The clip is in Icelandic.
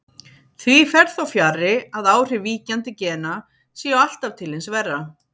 Því fer þó fjarri að áhrif víkjandi gena séu alltaf til hins verra.